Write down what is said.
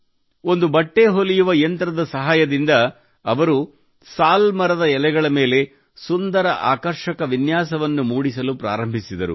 ಒಂದು ಬಟ್ಟೆ ಹೊಲಿಯುವ ಯಂತ್ರದ ಸಹಾಯದಿಂದ ಅವರು ಸಾಲ್ ಮರದ ಎಲೆಗಳ ಮೇಲೆ ಸುಂದರ ಆಕರ್ಷಕ ವಿನ್ಯಾಸ ಮೂಡಿಸಲು ಪ್ರಾರಂಭಿಸಿದರು